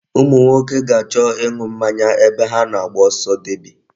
Ụmụ nwoke ga-achọ ịṅụ mmanya ebe ha na-agba ọsọ deby.